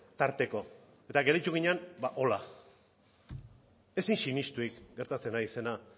tarteko eta gelditu ginen ba hola ezin sinesturik gertatzen ari zena